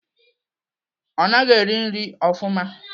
Ọ naghị eri nri ofụma.